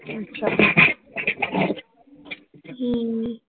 ਹਮ l